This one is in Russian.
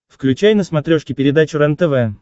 включай на смотрешке передачу рентв